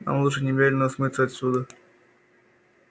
нам лучше немедленно смыться отсюда